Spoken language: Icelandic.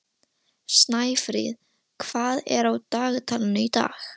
Snæfríð, hvað er á dagatalinu í dag?